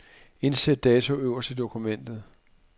Indsæt dato øverst i dokumentet.